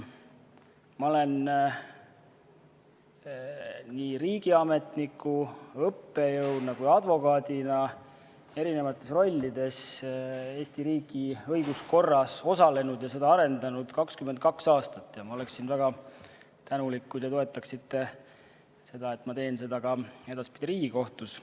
Ma olen nii riigiametniku, õppejõu kui ka advokaadina täitnud Eesti riigi õiguskorras erinevaid rolle ja arendanud seda 22 aastat ning ma oleksin väga tänulik, kui te toetaksite seda, et ma jätkaksin edaspidi ka Riigikohtus.